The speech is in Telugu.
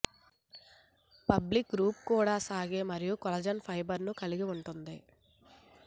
ఫాబ్రిక్ కూర్పు కూడా సాగే మరియు కొల్లాజెన్ ఫైబర్స్ కలిగి ఉంటుంది